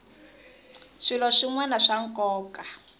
swilo swin wana swa nkoka